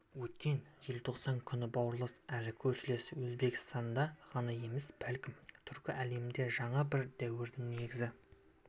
өткен желтоқсан күні бауырлас әрі көршілес өзбекстанда ғана емес бәлкім түркі әлемінде жаңа бір дәуірдің негізі